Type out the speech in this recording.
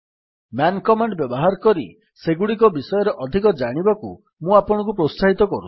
man command ବ୍ୟବହାର କରି ସେଗୁଡିକ ବିଷୟରେ ଅଧିକ ଜାଣିବାକୁ ମୁଁ ଆପଣଙ୍କୁ ପ୍ରୋତ୍ସାହିତ କରୁଛି